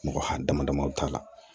Mɔgɔ ha damadamani t'a la